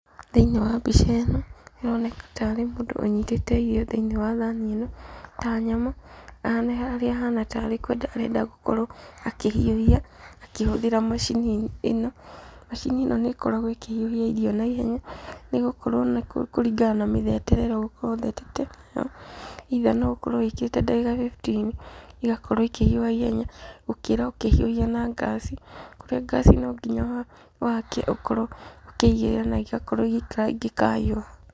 Thĩinĩ wa mbica ĩno, haroneka tarĩ mũndũ unyitĩte irio thĩinĩ wa thani ĩno, ta nyama, na harĩa hana tarĩ kwenda arenda gũkorwo akĩhiuhia akihũthĩra machini ĩno, machini nĩkoragwo ĩkĩhiũhia irio na ihenya, nĩgũkorwo nĩkũringana na mithetere ĩrĩa ugũkorwo ũthetete, either noũkorwo ũthetete ndagĩka fifteen igakorwo ikĩhiuha ihenya gũkĩra ũkĩhiuhia na gas, kũrĩa gas nonginya wakie ukorwo ũkĩgĩrĩra na igakorwo igĩikara ingĩkahiuha.